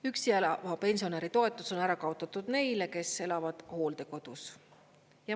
Üksi elava pensionäri toetus on ära kaotatud neile, kes elavad hooldekodus.